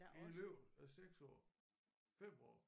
I løbet af 6 år 5 år